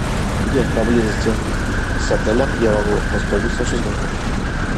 где поблизости с отелем я могу воспользоваться шезлонгом